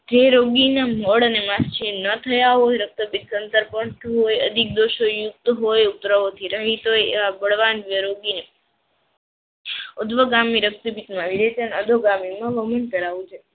જે રોગીના મળે માસ ના થયા હોય રક્તપિત અંદર પર પડતું હોય અધિક દોષોયુક્ત હોય ઉપર દ્રવ્યથી રહિત હોય બળવાન રોગીને ઉદ્ધવગામી રક્તપિત અધોગામીમાં કરાવવું જોઈએ.